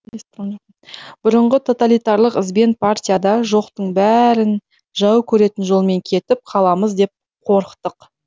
бұрынғы тоталитарлық ізбен партияда жоқтың бәрін жау көретін жолмен кетіп қаламыз деп қорықтық